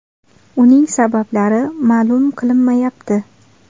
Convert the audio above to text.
Uning sabablari ma’lum qilinmayapti.